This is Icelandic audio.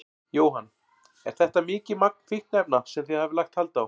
Jóhann: Er þetta mikið magn fíkniefna sem þið hafið lagt hald á?